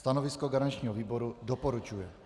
Stanovisko garančního výboru: doporučuje.